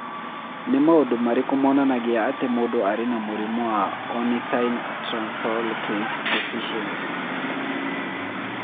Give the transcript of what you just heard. Nĩ maũndũ marĩkũ monanagia atĩ mũndũ arĩ na mũrimũ wa Ornithine translocase deficiency?